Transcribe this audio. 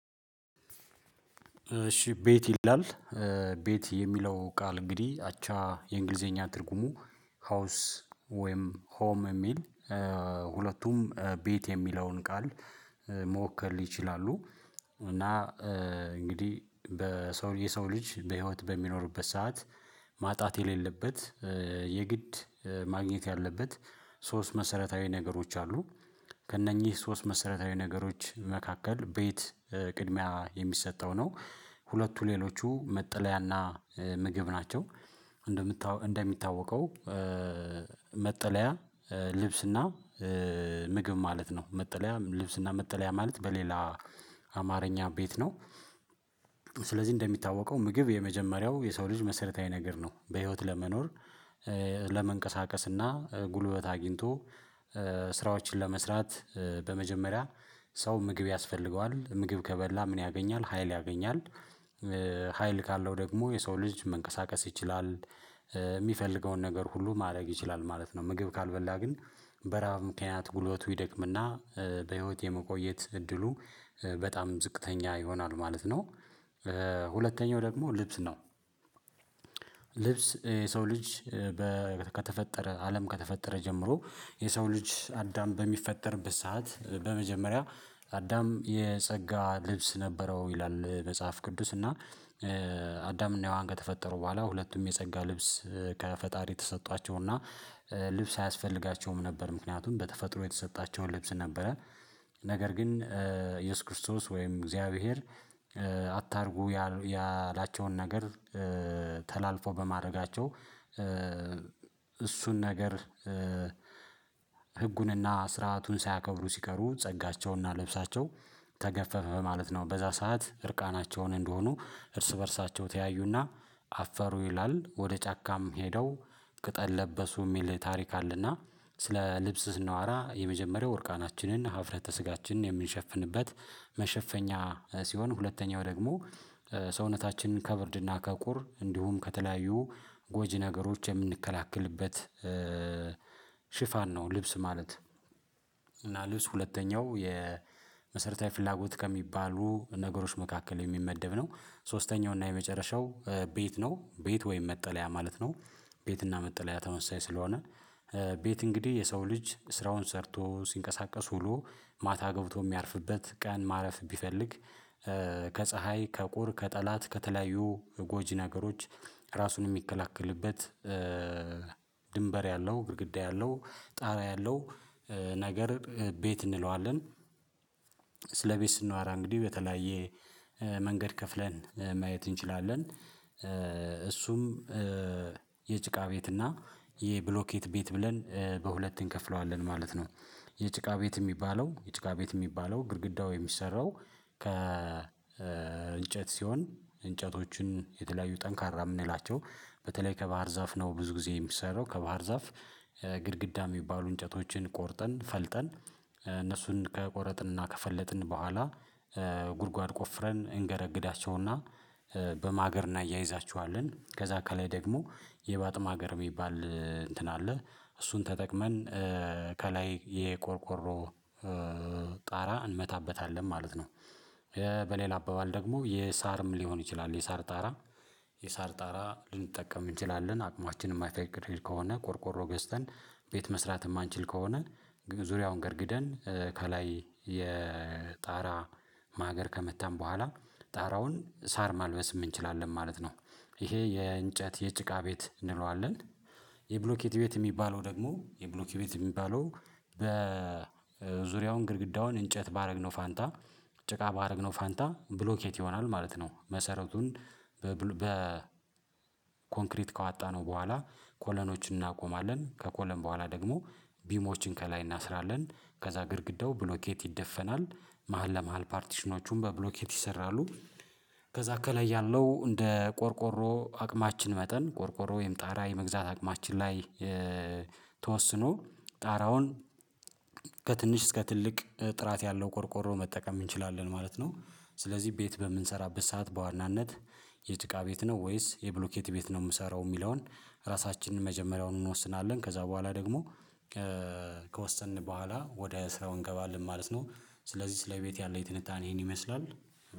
እሺ ቤት ይላል ቤት የሚለው ቃል እንግዲህ አቻ የእንግሊዘኛ ትርጉሙ ሀውስ ወይም ሆም የሚል ሁለቱም ቤት የሚለውን ቃል መወከል ይችላሉ። እና እንግዲህ በሰው የሰው ልጅ በህይወት በሚኖርበት ሰዓት ማጣት የሌለበት የግድ ማግኘት ያለበት ሶስት መሰረታዊ ነገሮች አሉ ከእነኚህ ሶስት መሰረታዊ ነገሮች መካከል ቤት ቅድሚያ የሚሰጠው ነው ሁለቱ ሌሎቹ መጠለያ እና ምግብ ናቸው። እንደሚታወቀው እንደሚታወቀው መጠለያ ልብስ እና ምግብ ማለት ነው መጠለያ ልብስና መጠለያ ማለት በሌላ አማርኛ ቤት ነው። ስለዚህ እንደሚታወቀው ምግብ የመጀመሪያው የሰው ልጅ መሰረታዊ ነገር ነው። በህይወት ለመኖር ለመንቀሳቀስ እና ጉልበት አግኝቶ ስራዎችን ለመስራት በመጀመሪያ ሰው ምግብ ያስፈልገዋል። ምግብ ከበላ ምን ያገኛል ሀይል ያገኛል። ሀይል ካለው ደግሞ የሰው ልጅ መንቀሳቀስ ይችላል የሚፈልገውን ነገር ሁሉ ማድረግ ይችላል ማለት ነው። ምግብ ካልበላ ግን በራሀብ ምክንያት ጉልበቱ ይደክምና በህይወት የመቆየት እድሉ በጣም ዝቅተኛ ይሆናሉ ማለት ነው። ሁለተኛው ደግሞ ልብስ ነው። ልብስ የሰው ልጅ ከተፈጠረ አለም ከተፈጠረ ጀምሮ የሰው ልጅ አዳም በሚፈጠርበት ሰዓት በመጀመሪያ አዳም የጸጋ ልብስ ነበረው። ይላል መጽሐፍ ቅዱስ እና አዳም እና ሄዋን ከተፈጠሩ በኋላ ሁለቱም የጸጋ ልብስ ከፈጣሪ ተሰጧቸው። ልብስ አያስፈልጋቸውም ነበር ምክንያቱም በተፈጥሮ የተሰጣቸውን ልብስ ነበረ። ነገር ግን ኢየሱስ ክርስቶስ ወይም እግዚአብሔር አታርጉ ያላቸውን ነገር ተላልፎ በማድረጋቸው እሱን ነገር ህጉንና ስርአቱን ሳያከብሩ ሲቀሩ ጸጋቸውና ለብሳቸው ተገፈፈ ማለት ነው። በዛ ሰዓት እርቃናቸውን እንደሆኑ እርስ በእርሳቸው ተያዩ እና አፈሩ ይላል። ወደ ጫካም ሄደው ቅጠል ለበሱ የሚል ታሪክ አለና። ስለ ልብስ ስናዋራ የመጀመሪያው እርቃናችንን ሀፍረተ ስጋችንን የምንሸፍንበት መሸፈኛ ሲሆን ሁለተኛው ደግሞ ሰውነታችንን ከብርድና ከቁር እንዲሁም ከተለያዩ ጎጂ ነገሮች የምንከላከልበት ሽፋን ነው። ልብስ ማለት እና ልብስ ሁለተኛው የመሰረታዊ ፍላጎት ከሚባሉ ነገሮች መካከል የሚመደብ ነው። ሶስተኛው እና የመጨረሻው ቤት ነው። ቤት ወይም መጠለያ ማለት ነው። ቤት እና መጠለያ ተመሳሳይ ስለሆነ። ቤት እንግዲህ የሰው ልጅ ስራውን ሰርቶ ሲንቀሳቀስ ውሎ ማታ ገብቶ የሚያርፍበት ቀን ማረፍ ቢፈልግ ከፀሀይ ከቁር ከጠላት ከተለያዩ ጎጂ ነገሮች ራሱን የሚከላከልበት ድንበር ያለው ግድግዳ ያለው ጣራ ያለው ነገር ቤት እንለዋለን። ስለቤት ስንዋራ እንግዲህ በተለያየ መንገድ ከፍለን ማየት እንችላለን። እሱም የጭቃ ቤት እና የብሎኬት ቤት ብለን በሁለት እንከፍለዋለን ማለት ነው። የጭቃ ቤት የሚባለው የጭቃ ቤት የሚባለው ግድግዳው የሚሰራው ከ እንጨት ሲሆን እንጨቶችን የተለያዩ ጠንካራ የምንላቸው በተለይ ከባህር ዛፍ ነው። ብዙ ጊዜ የሚሰራው ከባህር ዛፍ ግድግዳ የሚባሉ እንጨቶችን ቆርጠን ፈልጠን እነሱን ከቆረጥን እና ከፈለጥን በኋላ ጉድጓድ ቆፍረን እንገደግዳቸው። እና በማገር እናያይዛችኋለን ከዛ ከላይ ደግሞ የባጥም ሀገር የሚባል እንትን አለ እሱን ተጠቅመን ከላይ የቆርቆሮ ጣራ እንመታበታለን ማለት ነው። በሌላ አባባል ደግሞ የሳርም ሊሆን ይችላል የሳር ጣራ የሳር ጣራ ልንጠቀም እንችላለን አቅማችንን የማይፈቅድ ከሆነ ቆርቆሮ ገዝተን ቤት መስራት የማንችል ከሆነ ዙሪያውን ገድግደን ከላይ የጣራ ማገር ከመታን በኋላ ጣራውን ሳር ማልበስም እንችላለን ማለት ነው። ይሄ የእንጨት የጭቃ ቤት እንለዋለን። የብሎኬት ቤት የሚባለው ደግሞ የብሎኬት ቤት የሚባለው በዙሪያውን ግድግዳውን እንጨት ባደረግነው ፋንታ ጭቃ ባደረግነው ፋንታ ብሎኬት ይሆናል ማለት ነው። መሰረቱን በ ኮንክሪት ካአጣነው በኋላ ኮለኖችን እናቆማለን። ከኮለን በኋላ ደግሞ ቢሞችን ከላይ እናስራለን። ከዛ ግድግዳው ብሎኬት ይደፈናል መሃል ለመሃል ፓርቲሽኖቹን በብሎኬት ይሰራሉ። ከዛ ከላይ ያለው እንደ ቆርቆሮ አቅማችን መጠን ቆርቆሮ ወይም ጣራ የመግዛት አቅማችን ላይ ተወስኖ ጣራውን ከትንሽ እስከ ትልቅ ጥራት ያለው ቆርቆሮ መጠቀም እንችላለን ማለት ነው። ስለዚህ ቤት በምንሰራበት ሰዓት በዋናነት የጥቃ ቤት ነው ወይስ የብሎኬት ቤት ነው የምሰራው የሚለውን? ራሳችንን መጀመሪያውን እንወስናለን ከዛ በኋላ ደግሞ ከወሰንን በኋላ ወደ ስራው እንገባለን ማለት ነው። ስለዚህ ስለ ቤት ያለኝ ትንታኔ ይሄን ይመስላል።